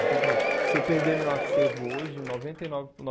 Então, por exemplo, se eu perder meu acervo hoje, noventa e nove